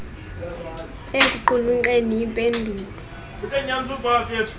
ekuqulunqeni im pendulo